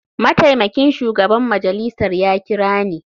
Mataimakin shugaban majalisar ya kira ni.